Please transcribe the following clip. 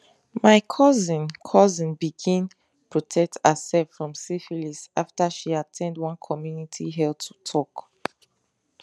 my cousin cousin begin protect herself from syphilis after she at ten d one community health talk